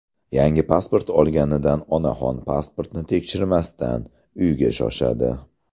Yangi pasport olganidan onaxon pasportni tekshirmasdan, uyga shoshadi.